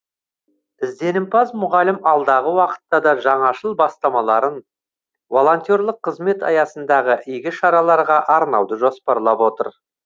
ізденімпаз мұғалім алдағы уақытта да жаңашыл бастамаларын волонтерлік қызмет аясындағы игі шараларға арнауды жоспарлап отыр